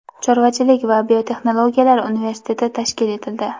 chorvachilik va biotexnologiyalar universiteti tashkil etildi.